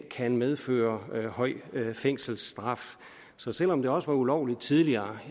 kan medføre høj fængselsstraf så selv om det også var ulovligt tidligere